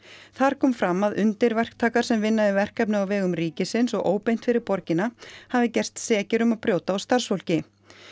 þar kom fram að undirverktakar sem vinna við verkefni á vegum ríkisins og óbeint fyrir borgina hafi gerst sekir um að brjóta á starfsfólki